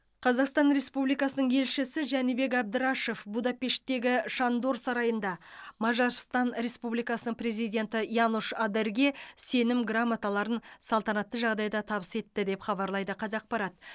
қазақстан республикасының елшісі жәнібек әбдрашов будапештегі шандор сарайында мажарстан республикасының президенті янош адерге сенім грамоталарын салтанатты жағдайда табыс етті деп хабарлайды қазақпарат